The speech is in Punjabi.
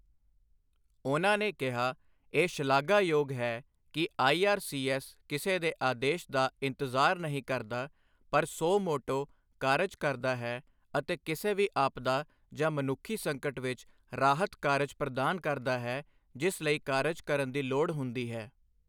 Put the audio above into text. ਉਨ੍ਹਾਂ ਨੇ ਕਿਹਾ, ਇਹ ਸ਼ਲਾਘਾਯੋਗ ਹੈ ਕਿ ਆਈਆਰਸੀਐੱਸ ਕਿਸੇ ਦੇ ਆਦੇਸ਼ ਦਾ ਇੰਤਜ਼ਾਰ ਨਹੀਂ ਕਰਦਾ, ਪਰ ਸੁਓ ਮੋਟੋ ਕਾਰਜ ਕਰਦਾ ਹੈ ਅਤੇ ਕਿਸੇ ਵੀ ਆਪਦਾ ਜਾਂ ਮਨੁੱਖੀ ਸੰਕਟ ਵਿੱਚ ਰਾਹਤ ਕਾਰਜ ਪ੍ਰਦਾਨ ਕਰਦਾ ਹੈ ਜਿਸ ਲਈ ਕਾਰਜ ਕਰਨ ਦੀ ਲੋੜ ਹੁੰਦੀ ਹੈ।